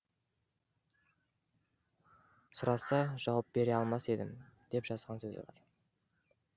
сұраса жауап бере алмас едім деп жазған сөзі бар